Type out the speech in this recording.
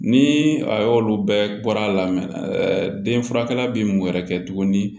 Ni a y'olu bɛɛ bɔra lamɛnden furakɛla bi mun wɛrɛ kɛ tuguni